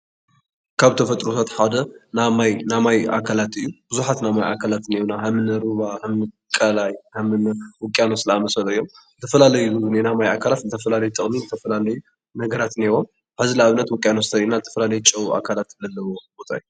ካብ ተፈጥሮታት ሓደ ናይ ማይ ኣካላት እዩ። ብዝሓት ናይ ማይ ኣካላት እንህውና ከም ሩባ፣ ቃላይ ከምኒ ውቅያኖስ ዝኣመሰሉ እዮም። ዝተፈላለየ ናይ ማይ ኣካላት ዝተፈላለዩ ጥቅሚ ዝተፈላላዩ ነገራት እንህዎም። ሕዚ ንኣብነት ውቅያኖስ እንተሪኢና ዝተፈላለዩ ጨው ኣካላት ዘለዎም ወፃኢ።